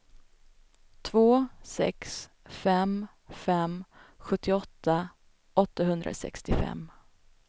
två sex fem fem sjuttioåtta åttahundrasextiofem